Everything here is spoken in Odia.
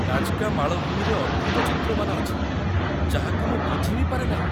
ନାଜ୍‌କା ମାଳଭୂମିରେ ଅଦ୍ଭୁତ ଚିତ୍ରମାନ ଅଛି, ଯାହାକୁ ମୁଁ ବୁଝି ବି ପାରେ ନାହିଁ!